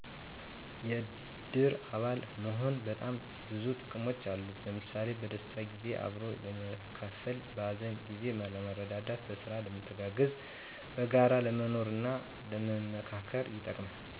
የእድር አባል መሆን በጣም ብዙ ጥቅሞች አሉት። ለምሣሌ፦ በደስታ ጊዜ አብሮ ለመካፈል፣ በሀዘን ጊዜ ለመረዳዳት፣ በስራ ለመተጋገዝ፣ በጋራ ለመኖርና ለመመካከር ይጠቅማል።